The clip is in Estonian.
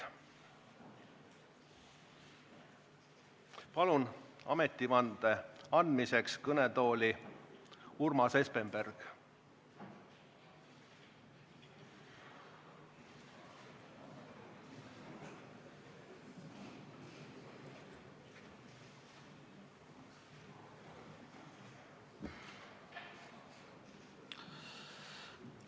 Palun ametivande andmiseks kõnetooli Urmas Espenbergi!